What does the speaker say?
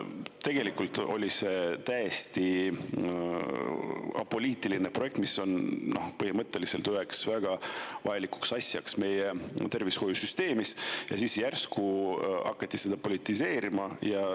Tegelikult oli see täiesti apoliitiline projekt, mis on põhimõtteliselt väga vajalik asi meie tervishoiusüsteemis, aga siis järsku hakati seda politiseerima.